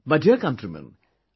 My dear countrymen,